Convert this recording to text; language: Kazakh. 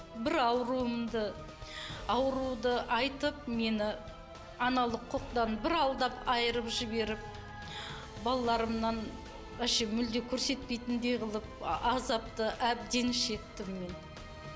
бір ауырымды ауруды айтып мені аналық құқықтан бір алдап айырып жіберіп балаларымнан вообще мулдем көрсетпейтіндей қылып азапты әбден шектім мен